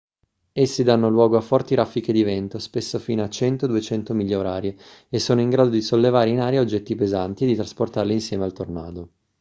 essi danno luogo a forti raffiche di vento spesso fino a 100-200 miglia orarie e sono in grado di sollevare in aria oggetti pesanti e di trasportarli insieme al tornado